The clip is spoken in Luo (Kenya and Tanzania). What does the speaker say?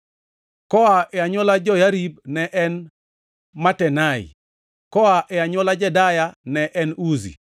koa e anywola Joyarib ne en Matenai; koa e anywola Jedaya ne en Uzi;